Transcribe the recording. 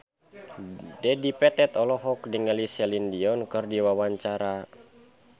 Dedi Petet olohok ningali Celine Dion keur diwawancara